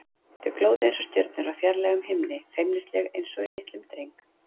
Þau glóðu einsog stjörnur á fjarlægum himni, feimnisleg einsog í litlum dreng.